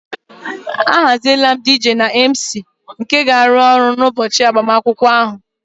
Ahaziela m DJ na MC nke ga-arụ ọrụ n'ụbọchị agbamakwụkwọ ahụ